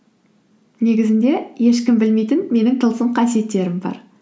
негізінде ешкім білмейтін менің тылсым қасиеттерім бар